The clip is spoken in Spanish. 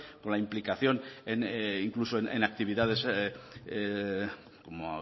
con la implicación incluso en actividades como